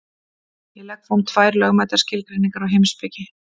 Ég legg fram tvær lögmætar skilgreiningar á heimspeki.